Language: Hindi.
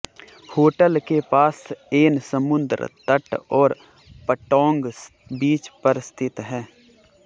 होटल के पास एन समुद्र तट और पटोंग बीच पर स्थित है